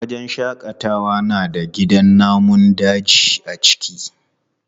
Wajen shaƙatawa na da gidan namun daji a ciki.